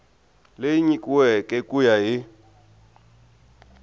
leyi nyikiweke ku ya hi